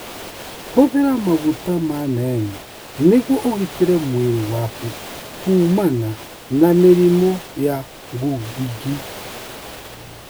Hũthĩra maguta ma neem nĩguo ũgitĩre mwĩrĩ waku kuumana na mĩrimũ ya ngungi.